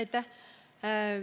Aitäh!